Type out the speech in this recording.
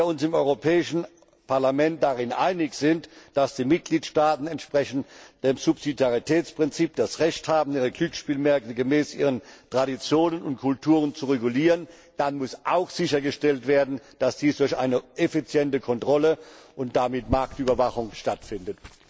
Wenn wir uns im Europäischen Parlament darin einig sind, dass die Mitgliedstaaten entsprechend dem Subsidiaritätsprinzip das Recht haben, ihre Glücksspielmärkte gemäß ihren Traditionen und Kulturen zu regulieren, dann muss auch sichergestellt werden, dass dies durch eine effiziente Kontrolle und damit Marktüberwachung stattfindet.